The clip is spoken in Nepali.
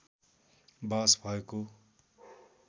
बहस भएको